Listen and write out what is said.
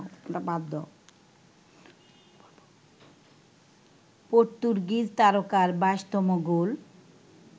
Portuguese তারকার ২২তম গোল